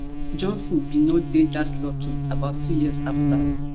johnson bin no dey dat lucky about two years afta